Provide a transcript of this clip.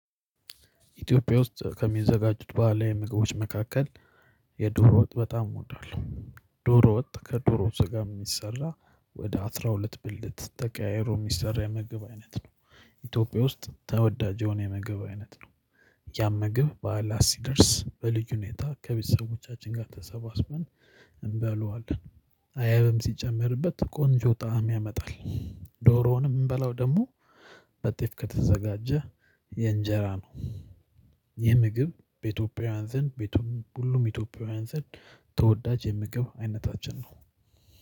ኢትዮጵያ ውስጥ ከሚዘጋጁት በህላዊ ምግቦች መካከል የዶሮ ወጥ በጣም እወዳለሁ። ዶሮ ወጥ ከዶሮ ስጋ የሚሰራ ወደ አስራ ሁለት ብልት ተቀያይሮ የሚሰራ የመግብ አይነት ነው። ኢትዮጵያ ውስጥ ተወዳጅ የሆነ የመገብ አይነት ነው። ያም ምግብ በዓላት ሲደርስ በልዩ ሁኔታ ከቤተሰቦቻችን ጋር ተሰባስበን እንበለዋለን። አይብም ሲጨመርበት ቆንጆ ጣዕም ያመጣል። ዶሮውንም የምንበላው ደግሞ ከጤፍ ከተዘጋጀ እንጀራ ነው። ይህ የምግብ በኢትዮጵያውያን ዘንድ፣ በሁሉም ኢትዮጵያውያን ዘንድ ተወዳጅ የምግብ አይነታችን ነው።